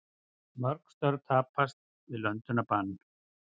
Mörg störf tapast við löndunarbann